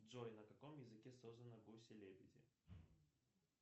джой на каком языке созданы гуси лебеди